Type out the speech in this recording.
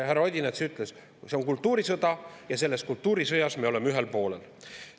Härra Odinets ütles, et see on kultuurisõda ja selles kultuurisõjas me oleme ühel poolel.